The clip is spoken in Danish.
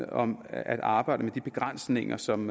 om at arbejde med de begrænsninger som